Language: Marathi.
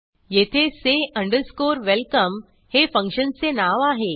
येथे say अंडरस्कोरwelcome हे फंक्शनचे नाव आहे